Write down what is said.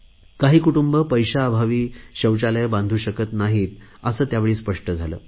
काही कुटुंबे पैशाअभावी शौचालये बांधू शकत नाहीत असे यावेळी स्पष्ट झाले